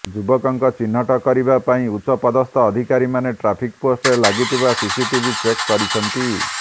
ଯୁବକଙ୍କ ଚିହ୍ନଟ କରିବା ପାଇଁ ଉଚ୍ଚ ପଦସ୍ଥ ଅଧିକାରୀମାନେ ଟ୍ରାଫିକ ପୋଷ୍ଟରେ ଲାଗିଥିବା ସିସିଟିଭି ଚେକ୍ କରିଛନ୍ତି